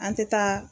An tɛ taa